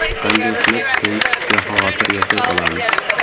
Qanday qilib tinch, bexavotir yashay olamiz?